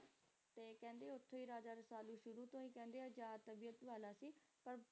ਤੇ ਕਹਿੰਦੇ ਓਥੋਂ ਹੀ Raja Rasalu ਸ਼ੁਰੂ ਤੋਂ ਹੀ ਕਹਿੰਦੇ ਆਜ਼ਾਦ ਤਬੀਅਤ ਵਾਲਾ ਸੀ